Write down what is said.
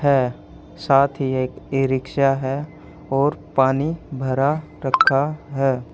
हैं साथ ही एक ई- रिक्शा हैं और पानी भरा रखा हैं।